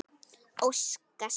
Óska sér.